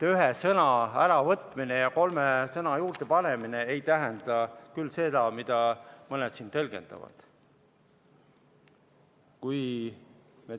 Ühe sõna äravõtmine ja kolme sõna juurdepanemine ei tähenda küll seda, nagu mõned siin tõlgendavad.